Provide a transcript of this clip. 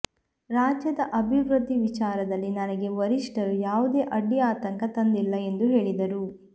ರಾಜ್ಯದ ಅಭಿವೃದ್ಧಿ ವಿಚಾರದಲ್ಲಿ ನನಗೆ ವರಿಷ್ಠರು ಯಾವುದೇ ಅಡ್ಡಿ ಆತಂಕ ತಂದಿಲ್ಲ ಎಂದು ಹೇಳಿದರು